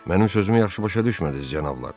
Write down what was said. Mənim sözümü yaxşı başa düşmədiniz, cənablar?